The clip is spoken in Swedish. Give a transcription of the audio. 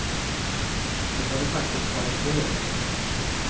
Det får de faktiskt ha i fred.